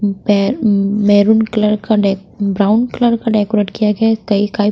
बे maroon colour का डे brown colour का डेकोरेट किया गया है कई-काई--